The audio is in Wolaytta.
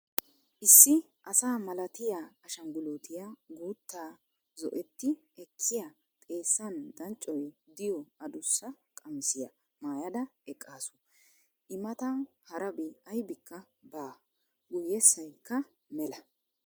Issi asa malatiyaa ashshanguliitiyaa guuttaa zo"oti ekkiyaa xeessan danccoy diyoo adussa qamissiyaa maayada eqqaasu. i mata harabi aybika baa. guyyesaykka mela.